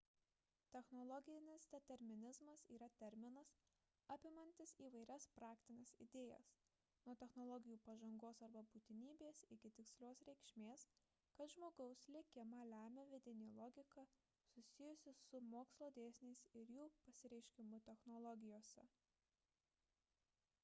technologinis determinizmas yra terminas apimantis įvairias praktines idėjas – nuo technologijų pažangos arba būtinybės iki tikslios reikšmės kad žmogaus likimą lemia vidinė logika susijusi su mokslo dėsniais ir jų pasireiškimu technologijose